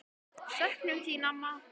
Söknum þín, amma.